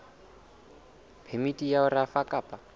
phemiti ya ho rafa kapa